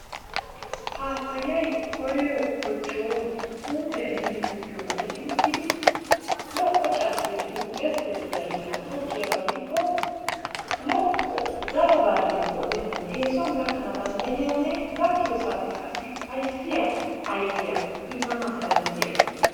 Paapayayi koyiro kochooro puutiya ehiidi tokkiyoba gidi uttidi lo"o carkoy de'iyo gezzettiya heeran tokkiyaaba gidikko lo"o daro barriya qoodenan eesuwan gakkana dandayinne gakkiyo saatiyan qassi upayissiya ayipiya immanaassi danddayiyaaba.